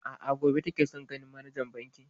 A'a, gobe take son ganin manajan bankin.